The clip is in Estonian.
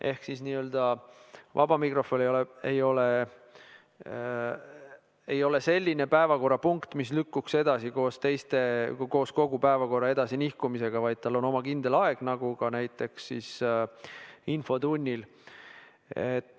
Ehk siis vaba mikrofon ei ole selline päevakorrapunkt, mis lükkuks edasi koos kogu päevakorra edasi nihkumisega, vaid tal on oma kindel aeg nagu ka näiteks infotunnil.